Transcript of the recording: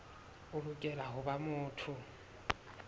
o lokela ho ba motho